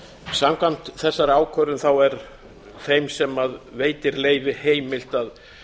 samkvæmt þessari ákvörðun er þeim sem veitir leyfi heimilt að